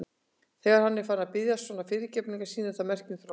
Þegar hann er farinn að biðjast svona fyrirgefningar sýnir það merki um þroska.